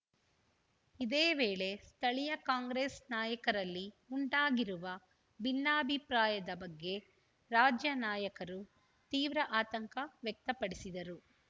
ಇದೇ ವೇಳೆ ಸ್ಥಳೀಯ ಕಾಂಗ್ರೆಸ್‌ ನಾಯಕರಲ್ಲಿ ಉಂಟಾಗಿರುವ ಭಿನ್ನಾಭಿಪ್ರಾಯದ ಬಗ್ಗೆ ರಾಜ್ಯ ನಾಯಕರು ತೀವ್ರ ಆತಂಕ ವ್ಯಕ್ತಪಡಿಸಿದರು